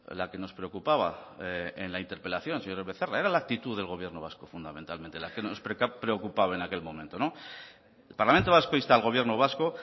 la que nos preocupaba en la interpelación señor becerra era la actitud del gobierno vasco fundamentalmente la que nos preocupaba en aquel momento el parlamento vasco insta al gobierno vasco